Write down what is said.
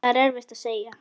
Það er erfitt að segja.